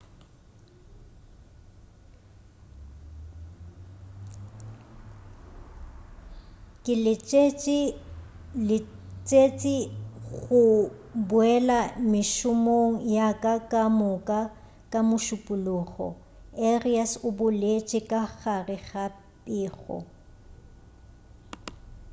ke letsetše go boela mešomong yaka ka moka ka mošupulogo arias o boletše ka gare ga pego